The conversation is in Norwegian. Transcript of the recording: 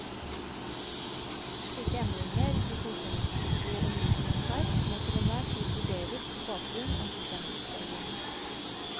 Slike endringer i godkjenningspliktige undervisningsverk må til enhver tid vurderes på bakgrunn av godkjenningsreglene.